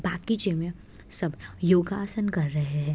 बागीचे में सब योगासन कर रहे हैं।